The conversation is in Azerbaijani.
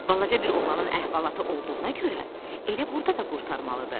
Balaca bir oğlanın əhvalatı olduğuna görə elə burda da qurtarmalıdır.